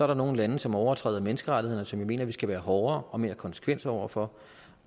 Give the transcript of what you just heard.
der nogle lande som overtræder menneskerettigheder og som jeg mener vi skal være hårdere og mere konsekvente over for